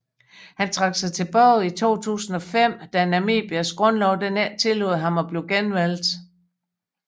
Han trak sig tilbage i 2005 da Namibias grundlov ikke tillod ham at blive genvalgt